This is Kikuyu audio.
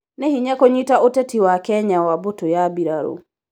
Nĩ hinya kunyita ũtetĩ wa Kenya wa mbutũ ya mbirarũ